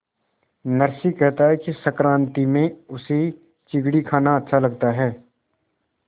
नरसी कहता है कि संक्रांति में उसे चिगडी खाना अच्छा लगता है